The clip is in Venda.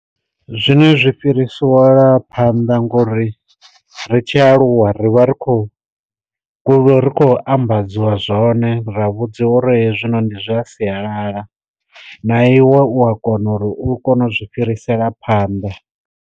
Zwine zwi fhiriselwa phanḓa ngori ri tshi aluwa rivha ri khou kule ri khou ambadziwa zwone ra vhudziwa uri hezwinoni zwa sialala, na iwe u a kona uri u kone u zwi fhirisela phanḓa.